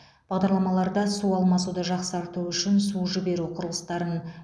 бағдарламаларда су алмасуды жақсарту үшін су жіберу құрылыстарын